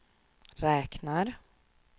räknar